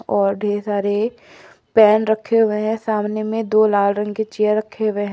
और ढेर सारे पेन रखे हुए हैं सामने में दो लाल रंग की चेयर रखे हुए हैं।